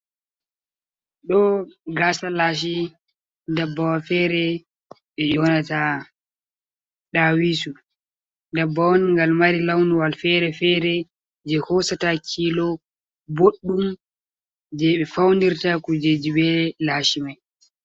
Ɗo gasa lashi dabbawal fere je yonata ɗawisu dabbawa on gal mari launwal fere-fere je hosata kilo ɓoɗdum je ɓe faunirta kujeji be lashi mai.